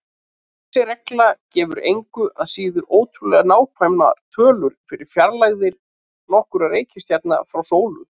Þessi regla gefur engu að síður ótrúlega nákvæmar tölur fyrir fjarlægðir nokkurra reikistjarna frá sólu.